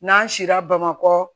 N'an sira bamakɔ